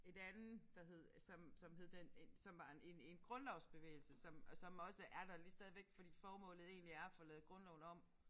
Et andet der hed som som hed den som var en en grundlovsbevægelse som og som også er der lige stadigvæk fordi formålet egentlig er at få lavet grundloven om